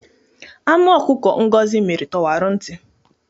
Anụ ọkụkọ Ngozi mịrị tọwara ntị.